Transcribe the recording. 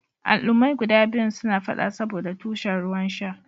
Al'ummai guda biyun suna fada saboɗa tushen ruwan sha.